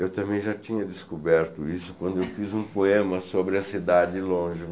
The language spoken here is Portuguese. Eu também já tinha descoberto isso quando eu fiz um poema sobre a cidade longe.